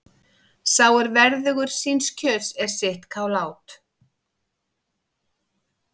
Sá er verðugur síns kjöts er sitt kál át.